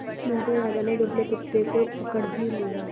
मोटे राजा ने दुबले कुत्ते को पकड़ ही लिया